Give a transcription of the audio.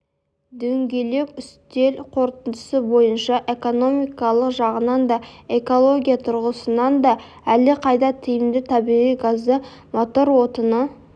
дөңгелек үстел қорытындысы бойынша экономикалық жағынан да экология тұрғысынан да әлдеқайда тиімді табиғи газды мотор отыны